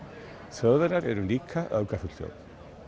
Þjóðverjar eru líka öfgafull þjóð